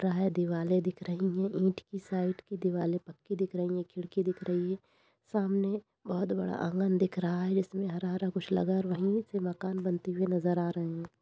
है। दिवालें दिख रही हैं। ईंट की साइड की दीवालें पक्की दिख रही हैं। खिड़की दिख रही है। सामने बहोत बड़ा आँगन दिख रहा है जिसमें हरा हरा कुछ लगा है और वहीं से मकान बनती हुई नज़र आ रही है।